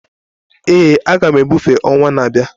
Ee, a ga m ebufe ọnwa na-abịa